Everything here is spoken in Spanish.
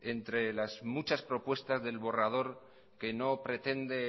entre las muchas propuestas del borrador que no pretende